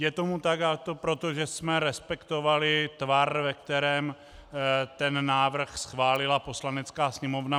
Je tomu tak, protože jsme respektovali tvar, ve kterém ten návrh schválila Poslanecká sněmovna.